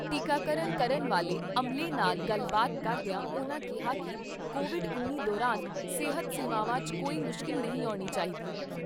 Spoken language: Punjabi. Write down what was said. ਟੀਕਾਕਰਨ ਕਰਨ ਵਾਲੇ ਅਮਲੇ ਨਾਲ ਗੱਲਬਾਤ ਕਰਦਿਆਂ ਉਨ੍ਹਾਂ ਕਿਹਾ ਕਿ ਕੋਵਿਡ ਉੱਨੀ ਦੌਰਾਨ ਸਿਹਤ ਸੇਵਾਵਾਂ 'ਚ ਕੋਈ ਮੁਸ਼ਕਿਲ ਨਹੀਂ ਆਉਣੀ ਚਾਹੀਦੀ।